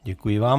Děkuji vám.